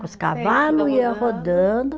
Com os cavalo ia rodando.